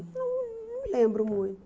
Não não me lembro muito.